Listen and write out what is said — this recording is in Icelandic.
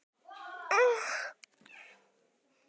Kerúbar standa vörð um hásætið og einnig lífsins tré í Paradís.